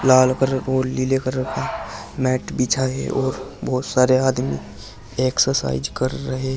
लाल colour और लीले colour का मैट बिछा है और बोहोत सारे आदमी एक्सरसाइज कर रहे --